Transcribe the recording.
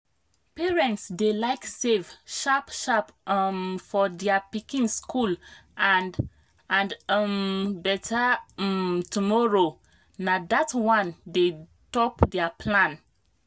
parents dey like save sharp-sharp um for their pikin school and and um better um tomorrow na that one dey top their plan.